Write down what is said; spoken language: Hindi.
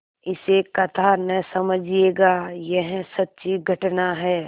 इसे कथा न समझिएगा यह सच्ची घटना है